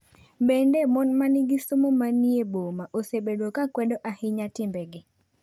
Bende, mon ma nigi somo ma ni e boma osebedo ka kwedo ahinya timbegi.